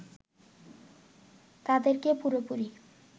তাদেরকে পুরোপুরি